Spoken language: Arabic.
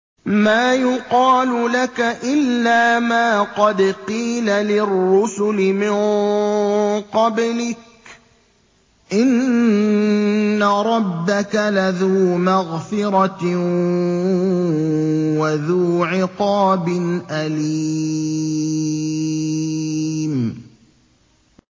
مَّا يُقَالُ لَكَ إِلَّا مَا قَدْ قِيلَ لِلرُّسُلِ مِن قَبْلِكَ ۚ إِنَّ رَبَّكَ لَذُو مَغْفِرَةٍ وَذُو عِقَابٍ أَلِيمٍ